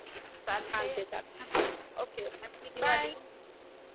चालतं चालतं okay okay happy Diwali